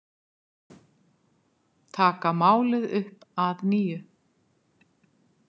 Taka málið upp að nýju